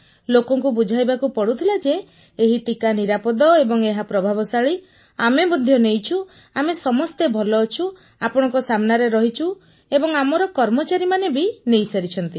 ଲୋକଙ୍କୁ ବୁଝାଇବାକୁ ପଡୁଥିଲା ଯେ ଏହି ଟିକା ନିରାପଦ ଏବଂ ଏହା ପ୍ରଭାବଶାଳୀ ଆମେ ମଧ୍ୟ ନେଇଛୁ ଆମେ ସମସ୍ତେ ଭଲ ଅଛୁ ଆପଣଙ୍କ ସାମ୍ନାରେ ରହିଛୁ ଏବଂ ଆମର କର୍ମଚାରୀମାନେ ବି ନେଇସାରିଛନ୍ତି